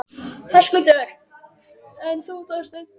Höskuldur: En þú, Þorsteinn?